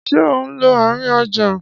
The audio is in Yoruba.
Ṣé ò ń lọ àárín ọjà?